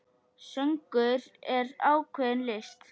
Söngur er ákveðin list.